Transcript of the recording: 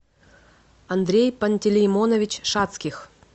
андрей пантелеймонович шацких